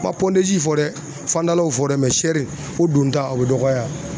N ma pɔndezi fɔ dɛ fandalaw fɔ dɛ mɛ sɛri o donta o be dɔgɔya yan